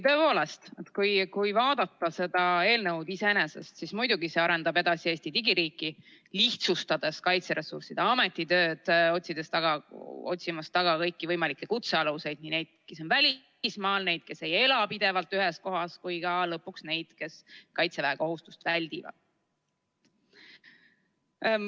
Tõepoolest, kui vaadata seda eelnõu iseenesest, siis muidugi arendab see edasi Eesti digiriiki, lihtsustades Kaitseressursside Ameti tööd, kui otsitakse taga kõiki võimalikke kutsealuseid, neid, kes on välismaal, neid, kes ei ela pidevalt ühes kohas, või ka lõpuks neid, kes kaitseväekohustust väldivad.